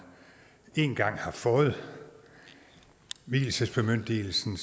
en gang har fået vielsesbemyndigelsen